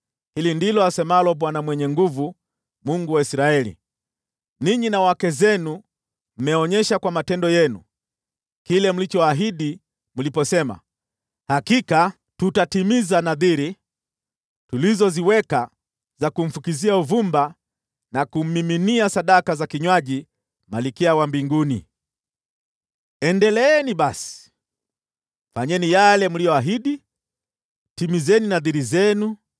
Hili ndilo asemalo Bwana Mwenye Nguvu Zote, Mungu wa Israeli: Ninyi na wake zenu mmeonyesha kwa matendo yenu kile mlichoahidi mliposema, ‘Hakika tutatimiza nadhiri tulizoziweka za kumfukizia uvumba na kummiminia sadaka za kinywaji Malkia wa Mbinguni.’ “Endeleeni basi, fanyeni yale mliyoahidi! Timizeni nadhiri zenu!